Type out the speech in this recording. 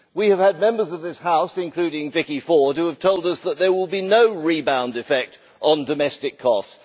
We have had Members of this House, including Vicky Ford, who have told us that there will be no rebound effect on domestic costs.